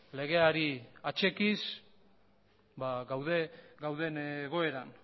legeari atzekiz gaude gauden egoeran